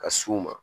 Ka s'u ma